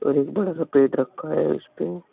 और एक बड़ा सा पेड रखा है उसपे।